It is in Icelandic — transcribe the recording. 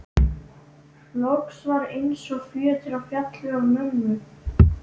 Loks var eins og fjötrar féllu af mömmu.